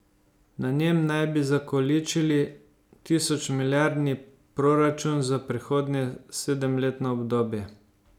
Na njem naj bi zakoličili tisočmilijardni proračun za prihodnje sedemletno obdobje.